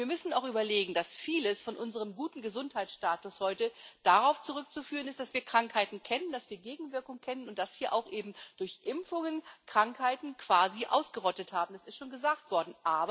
Wir müssen auch überlegen, dass vieles von unserem guten Gesundheitsstatus heute darauf zurückzuführen ist, dass wir Krankheiten kennen, dass wir Gegenwirkungen kennen und dass wir auch eben durch Impfungen Krankheiten quasi ausgerottet haben es ist schon gesagt worden.